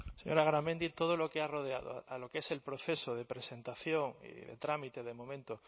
señora garamendi todo lo que ha rodeado a lo que es el proceso de presentación y de trámite de momento